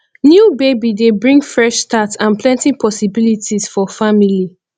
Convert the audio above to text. new baby dey bring fresh start and plenty possibilities for family